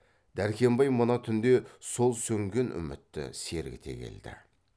дәркембай мына түнде сол сөнген үмітті сергіте келді